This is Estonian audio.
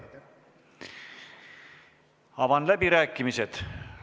Avan läbirääkimised.